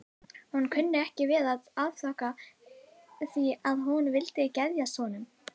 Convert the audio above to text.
Hún kunni ekki við að afþakka því að hún vildi geðjast honum.